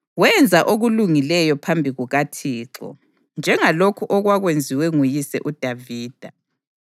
Wenza okulungileyo phambi kukaThixo, njengalokho okwakwenziwe nguyise uDavida.